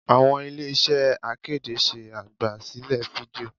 Àwọn ilé iṣẹ́ akéde ṣe àgbà sílẹ̀ fídíò.